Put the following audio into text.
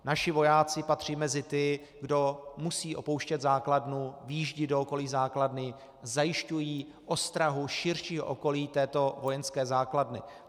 Naši vojáci patří mezi ty, kdo musí opouštět základnu, vyjíždějí do okolí základny, zajišťují ostrahu širšího okolí této vojenské základny.